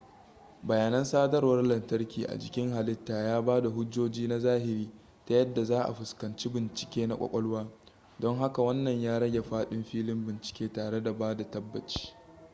bayanan sadarwar lantarki a jikin halitta ya bada hujjoji na zahiri ta yadda za a fuskanci bincike na kwakwalwa don haka wanna ya rage fadin filin bincike tare da bada tabbaci